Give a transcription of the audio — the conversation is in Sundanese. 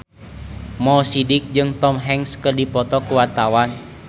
Mo Sidik jeung Tom Hanks keur dipoto ku wartawan